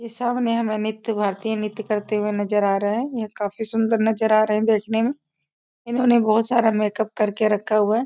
सामने हमें नृत्य भारतीय नृत्य करते हुए नजर आ रहे हैं यह काफी सुंदर नजर आ रहा है देखने में इन्होंने बहुत सारा मेक-अप करके रखा हुआ है।